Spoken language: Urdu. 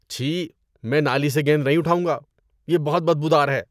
چھی، میں نالی سے گیند نہیں اٹھاؤں گا۔ یہ بہت بدبودار ہے۔